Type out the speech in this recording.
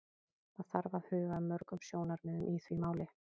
Það þarf að huga að mörgum sjónarmiðum í því máli.